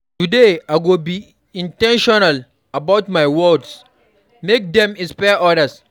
Today, I go be in ten tional about my words; make dem inspire others.